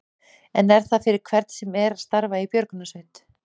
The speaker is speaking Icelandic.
En er það fyrir hvern sem er að starfa í björgunarsveit?